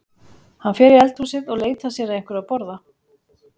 Hann fer í eldhúsið og leitar sér að einhverju að borða.